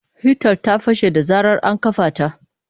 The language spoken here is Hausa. Hitan ta fashe da zarar ana kafa ta.